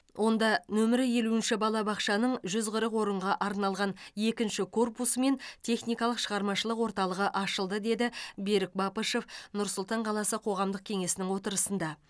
онда нөмірі елуінші балабақшаның жүз қырық орынға арналған екінші корпусы мен техникалық шығармашылық орталығы ашылды деді берік бапышев нұр сұлтан қаласы қоғамдық кеңесінің отырысында